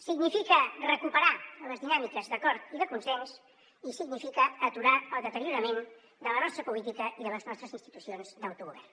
significa recuperar les dinàmiques d’acord i de consens i significa aturar el deteriorament de la nostra política i de les nostres institucions d’autogovern